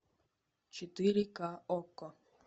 четыре ка окко